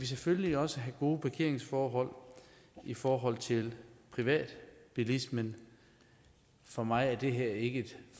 selvfølgelig også have gode parkeringsforhold i forhold til privatbilismen for mig er det her ikke et